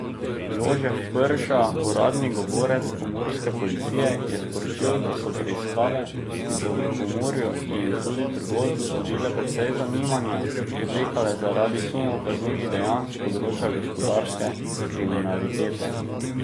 Jožef Prša, uradni govorec pomurske policije, je sporočil, da so preiskave, ki so v Pomurju in tudi drugod vzbudile precej zanimanja, potekale zaradi sumov kaznivih dejanj s področja gospodarske kriminalitete.